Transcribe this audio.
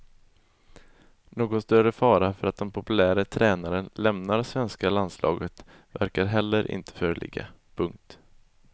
Någon större fara för att den populäre tränaren lämnar svenska landslaget verkar heller inte föreligga. punkt